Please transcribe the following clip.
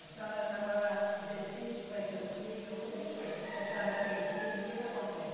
A senhora estava, decide que vai ter o filho, como é que é que a senhora tem o filho, o que que acontece?